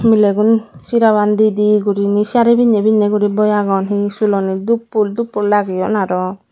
milegun seraban didi guriney saree pinney pinney guri boi agon se sulanit dhup fhool dhup fhool lageyun aro.